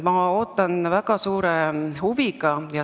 Ma ootan väga suure huviga.